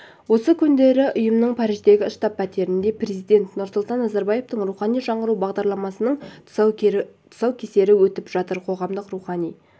осы күндері ұйымның париждегі штаб-пәтерінде президент нұрсұлтан назарбаевтың рухани жаңғыру бағдарламасының тұсаукесері өтіп жатыр қоғамды рухани